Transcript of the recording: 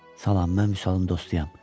Salam, mən Vüsalın dostuyam.